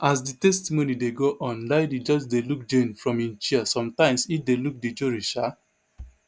as di testimony dey go on diddy just dey look jane from im chair sometimes e dey look di jury sha